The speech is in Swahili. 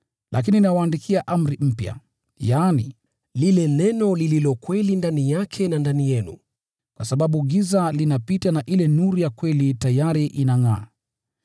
Lakini nawaandikia amri mpya, yaani, lile neno lililo kweli ndani yake na ndani yenu, kwa sababu giza linapita na ile nuru ya kweli tayari inangʼaa.